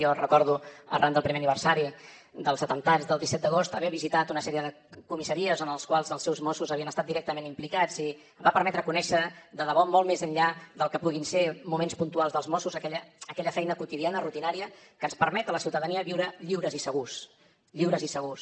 jo recordo arran del primer aniversari dels atemptats del disset d’agost haver visitat una sèrie de comissaries en les quals els seus mossos havien estat directament implicats i em va permetre conèixer de debò molt més enllà del que puguin ser moments puntuals dels mossos aquella feina quotidiana rutinària que ens permet a la ciutadania viure lliures i segurs lliures i segurs